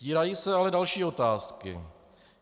Vtírají se ale další otázky.